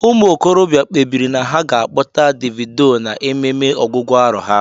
Ụmụ okorobịa kpebiri na ha ga akpọta Davido na ememe ọgwụgwụ arọ há.